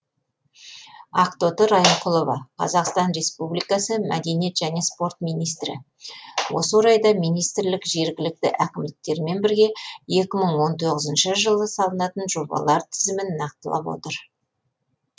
ақтоты райымқұлова қазақстан республикасы мәдениет және спорт министрі осы орайда министрлік жергілікті әкімдіктермен бірге екі мың он тоғызыншы жылы салынатын жобалар тізімін нақтылап отыр